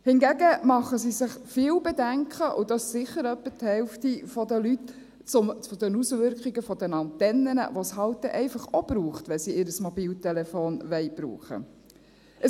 Hingegen haben viele – sicher etwa die Hälfte der Leute – Bedenken zu den Auswirkungen der Antennen, die es halt einfach auch braucht, wenn sie ihr Mobiltelefon brauchen wollen.